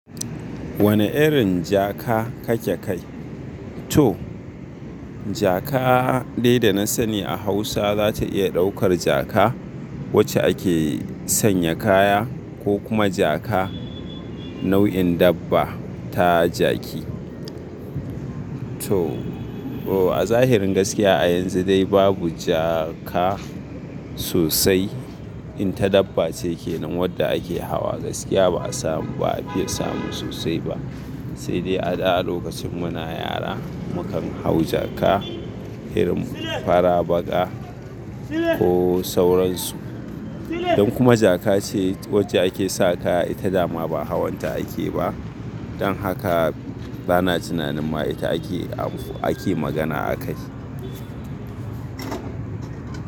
Wane irin jaka kake kai? To jaka dai da na sani a Hausa za ta iya ɗaukar jaka wacce ake sanya kaya ko kuma jaka nau'in dabba ta jaki. To, a zahirin gaskiya a yanzu dai babu jaka sosai. In ta daba ce kenan, wadda ake hawa gaskiya ba'a samu sosai ba sai dai a da a lokacin muna yara mu kan hau jaka, irin fara, baƙa ko sauransu. Don kuma jaka ce wacce ake sa kaya ita dama ba hawan ta ake ba. Don haka bana tunanin ma ita ake, ake magana akai.